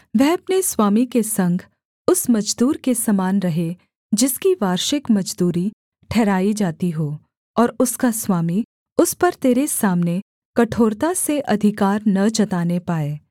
वह अपने स्वामी के संग उस मजदूर के समान रहे जिसकी वार्षिक मजदूरी ठहराई जाती हो और उसका स्वामी उस पर तेरे सामने कठोरता से अधिकार न जताने पाए